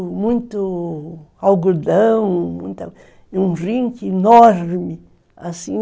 É muito algodão, um rinque enorme, assim